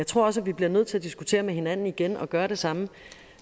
tror også at vi bliver nødt til at diskutere med hinanden igen og gøre det samme